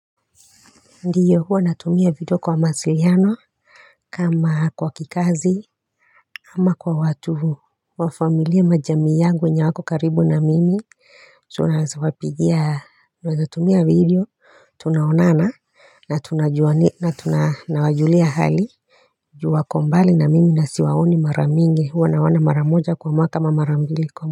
Ndiyo huwa natumia video kwa mawasiliano kama kwa kikazi ama kwa watu huu wa familia majamii yangu yenye hawako karibu na mimi tunasapigia, tunasapigia, tunasapigia video, tunaonana na tunajua na tunawajulia hali juu wako mbali na mimi nasi waoni maramingi huwa na wana maramoja kwa mwaka mara mbili.